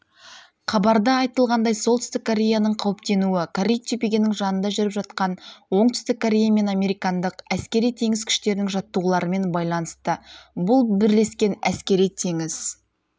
хабарда айтылғандай солтүстік кореяның қауіптенуі корей түбегінің жанында жүріп жатқан оңтүстік корея мен американдық әскери-теңіз күштерінің жаттығуларымен байланысты бұл бірлескен әскери-теңіз